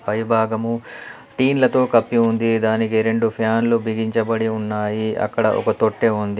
పైభాగము టీన్లతో కప్పి ఉంది. దానికి రెండు ఫ్యాన్లు బిగించబడి ఉన్నాయి. అక్కడ ఒక తొట్టె ఉంది.